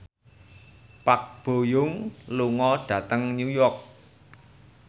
Park Bo Yung lunga dhateng Newport